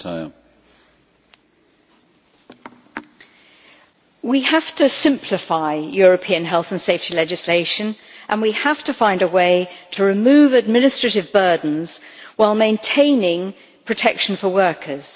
Mr President, we have to simplify European health and safety legislation and we have to find a way to remove administrative burdens while maintaining protection for workers.